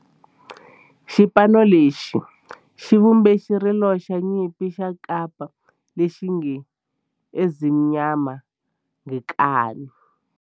Xipano lexi xi vumbe xirilo xa nyimpi xa kampa lexi nge 'Ezimnyama Ngenkani'.